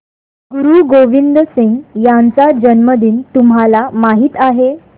गुरु गोविंद सिंह यांचा जन्मदिन तुम्हाला माहित आहे